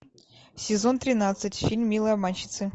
сезон тринадцать фильм милые обманщицы